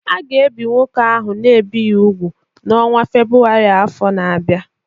A ga-ebi nwoke ahụ a na-ebighị úgwù n’ọnwa Febụwarị afọ na-abịa.